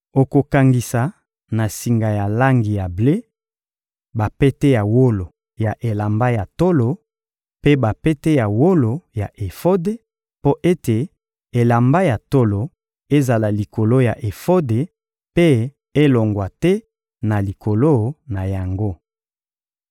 Okokangisa na singa ya langi ya ble bapete ya wolo ya elamba ya tolo mpe bapete ya wolo ya efode, mpo ete elamba ya tolo ezala likolo ya efode mpe elongwa te na likolo na yango.